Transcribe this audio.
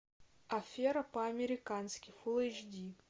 афера по американски фулл эйч ди